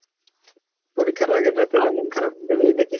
পরীক্ষার আগের রাত এ মন খারাপ ওই দেখি